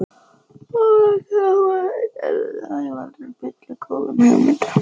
Of margir embættismenn og sérfræðingar geta auðveldlega spillt góðum hugmyndum.